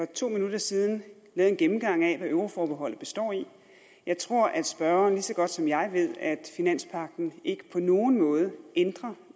to minutter siden lavet en gennemgang af hvad euroforbeholdet består i jeg tror at spørgeren lige så godt som jeg ved at finanspagten ikke på nogen måde ændrer